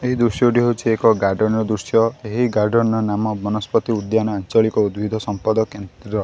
ଏହି ଦୃଶ୍ୟ ଟି ହୋଉଛି ଏକ ଗାର୍ଡେନ୍ ର ଦୃଶ୍ୟ। ଏହି ଗାର୍ଡେନ୍ ର ନାମ ବନସ୍ପତି ଉଦ୍ୟାନ ଆଞ୍ଚଳିକ ଉଦ୍ଭିଦ ସମ୍ପଦ କେନ୍ଦ୍ର।